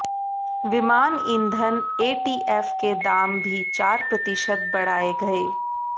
विमान ईंधन एटीएफ के दाम भी चार प्रतिशत बढ़ाए गए